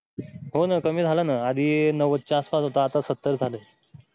हो ना कमी झालं ना आधी नव्वद च्या आसपास हो आता सत्तर झालाय.